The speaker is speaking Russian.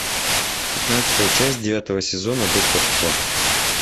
пятнадцатая часть девятого сезона доктор кто